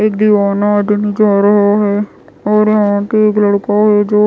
एक दीवाना आदमी जा रहा है और यहाँ पे एक लड़का है जो--